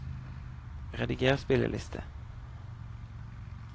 rediger spilleliste